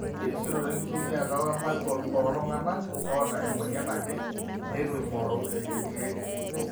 erisioroto enkitumiata wematwa ooltung'anak oota emweyian naje neitu eing'oru irkeek